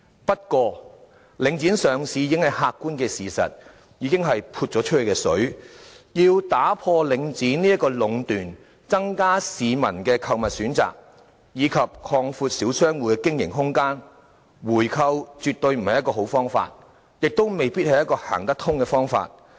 不過，領展上市已經是客觀的事實，已是"潑出去的水"，要打破領展的壟斷，增加市民的購物選擇，以及擴闊小商戶的經營空間，回購絕對不是好方法，亦未必行得通。